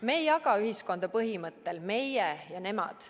Me ei jaga ühiskonda põhimõttel "meie ja nemad".